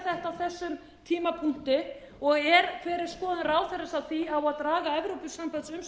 að gera þetta á þessum tímapunkti og hver er skoðun ráðherrans á því á að draga